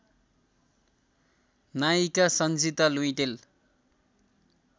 नायिका सन्जिता लुइटेल